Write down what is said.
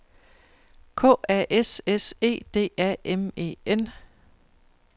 K A S S E D A M E N